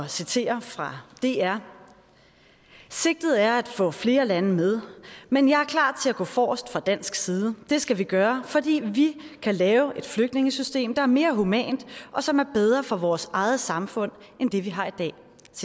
citere fra dr sigtet er at få flere lande med men jeg er klar til at gå forrest fra dansk side det skal vi gøre fordi vi kan lave et flygtningesystem der er mere humant og som er bedre for vores eget samfund end det vi har i dag